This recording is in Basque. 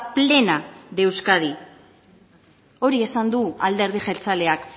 plena de euskadi hori esan du alderdi jeltzaleak